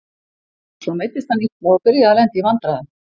Svo meiddist hann illa og byrjaði að lenda í vandræðum.